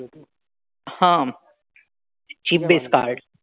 हां. chip-based card.